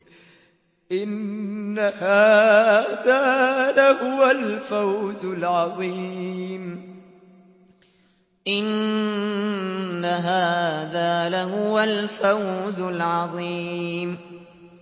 إِنَّ هَٰذَا لَهُوَ الْفَوْزُ الْعَظِيمُ